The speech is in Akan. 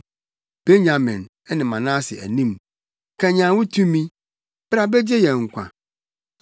wɔ Efraim, Benyamin ne Manase anim. Kanyan wo tumi; bra begye yɛn nkwa.